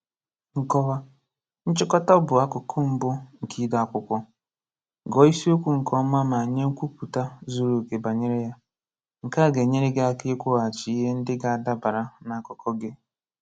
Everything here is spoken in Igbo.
Nkọwa: Nchịkọta bụù akụkụ mbu nke ide akwụkwọ. Gụọ ísiíokwu nkè ọma, ma nye nkwupụta zuru oke bànyéré ya. Nke a ga-ènyéré gị ị́kwuaghachì ihe ndị ga-adabara na akụkọ gị.